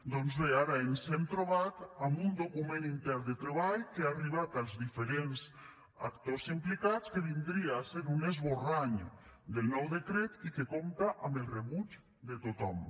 doncs bé ara ens hem trobat amb un document intern de treball que ha arribat als diferents actors implicats que vindria a ser un esborrany del nou decret i que compta amb el rebuig de tothom